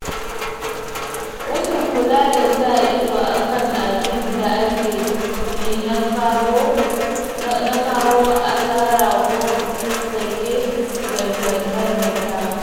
Rashin kula da sa ido a kan abin da ake yi na kawo asara ko sake maimaitawa.